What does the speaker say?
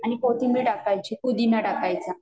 आणि कोथिंबीर टाकायची, पुदिना टाकायचा